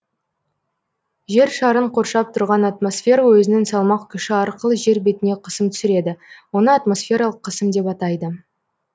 жер шарын коршап тұрған атмосфера өзінің салмақ күші арқылы жер бетіне қысым түсіреді оны атмосфералық қысым деп атайды